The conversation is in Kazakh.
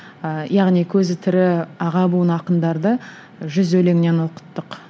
ы яғни көзі тірі аға буын ақындарды жүз өлеңнен оқыттық